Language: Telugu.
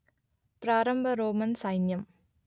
ప్రారంభ రోమన్ సైన్యం